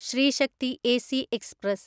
Shri Shakti AC express